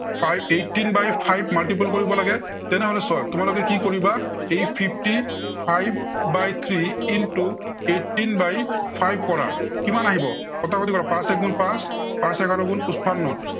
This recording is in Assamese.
eighteen by five multiple কৰিব লাগে। তেনেহলে চোৱা, তোমালোকে কি কৰিবা, এই fifty five by three into eighteen by five পৰা কিমান আহিব, কটাকটি কৰা, পাঁচ এগুণ পাঁচ, পাঁচ এঘাৰ গুণ পচপন্ন।